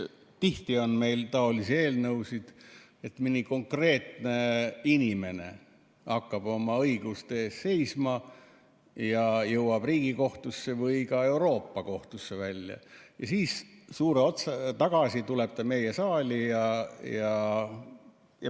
Tihti on meil taolisi eelnõusid, et mõni konkreetne inimene hakkab oma õiguste eest seisma ja jõuab Riigikohtusse või ka Euroopa Kohtusse välja ning siis tuleb see tagasi meie saali.